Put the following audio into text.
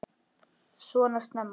Svona snemma?